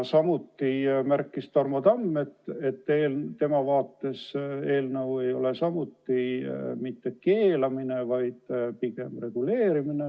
Ka Tarmo Tamm märkis, et tema arvates eelnõu sisu ei ole mitte keelamine, vaid pigem reguleerimine.